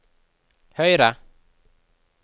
høyre